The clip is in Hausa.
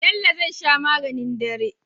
Bello zai sha maganin dare